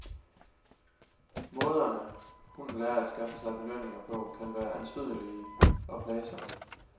Måderne, hunden lærer at skaffe sig belønninger på, kan være anstødelige og plagsomme.